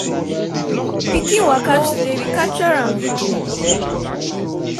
pikin waka today we capture am video.